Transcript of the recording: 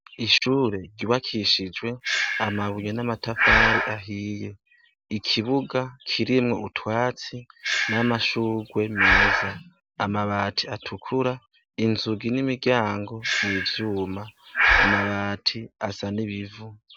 Ishuri ryubakishijwe amabuye n'amatafari ahiye, ikibuga kirimwo utwatsi n'amashurwe meza. Amabati atukura, inzugi n'imiryango ni ivyuma. Amabati asa n'ibivu.